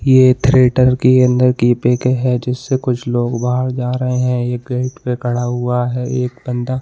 ये एक थिएटर की अंदर की पिक है जिससे कुछ लोग बाहर जा रहे हैं एक गेट पे खड़ा हुआ है एक बंदा --